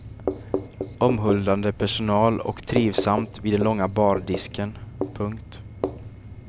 Omhuldande personal och trivsamt vid den långa bardisken. punkt